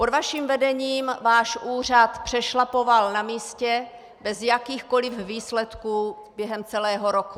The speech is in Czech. Pod vaším vedením váš úřad přešlapoval na místě bez jakýchkoliv výsledků během celého roku.